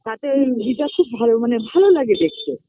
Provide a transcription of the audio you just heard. তাতে এই Weather খুব ভাল মানে ভালো লাগে দেখতে